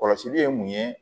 Kɔlɔsili ye mun ye